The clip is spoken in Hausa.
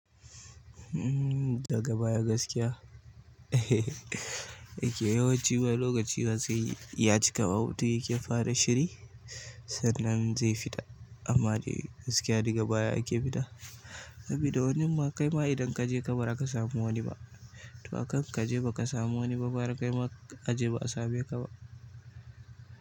Mmm daga baya gaskiya? Yake yawanci wai lokaci wa zai ya cika wata yake fara shiri sannan zai fita amma dai gaskiya daga baya ake fita. Sabida wani ma kai ma idan kaje ka ba zaka samu wani ba to akan kaje ba ka samu wani ba gara kai ma aje ba a same ka ba.